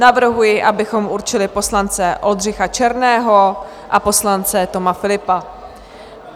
Navrhuji, abychom určili poslance Oldřicha Černého a poslance Toma Philippa.